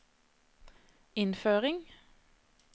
innføring